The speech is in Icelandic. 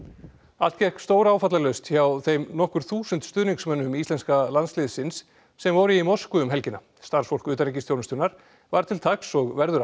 allt gekk stóráfallalaust hjá þeim nokkur þúsund stuðningsmönnum íslenska landsliðsins sem voru í Moskvu um helgina starfsfólk utanríkisþjónustunnar var til taks og verður